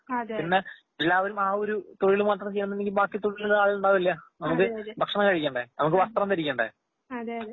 പിന്നെ എല്ലാവരും ആഒരു തൊഴിലുമാത്രംചെയ്യാന്നുണ്ടെങ്കി ബാക്കി തൊഴിലിന് ആളുകളുണ്ടാവില്ല. നമുക്ക് ഭക്ഷണം കഴിക്കേണ്ടെ, നമുക്ക് വസ്ത്രം ധരിക്കണ്ടെ